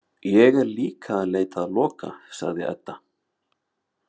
Ég er líka að leita að Loka, sagði Edda.